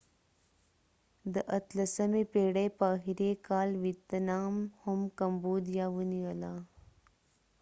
د 18 اتلسمی پیړی په اخری کال ويتنام هم کمبوديا ونیوله